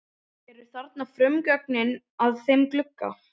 Eru þarna frumgögnin að þeim glugga.